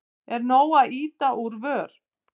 Er nóg að ýta úr vör?